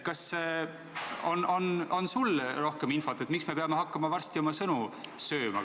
Kas sul on rohkem infot, miks me peame hakkama varsti oma sõnu sööma?